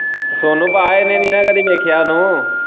ਸੋਨੂੰ ਪਾ ਇਹਨੇ ਨਹੀਂ ਨਾ ਕਦੇ ਵੇਖਿਆ ਤੂੰ।